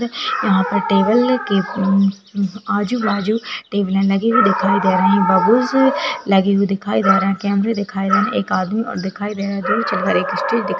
यहाँ पे टेबल के उम्म्म अजु बाजु टेबलें लगी हुई दिखाई दे रही हैं बलून्स लगे हुए दिखाई दे रहे हैं कैमरे दिखाई दे रहे हैं। एक आदमी और दिखायी दे रहा है --